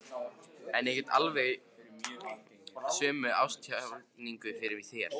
En ég get gert alveg sömu ástarjátninguna fyrir þér.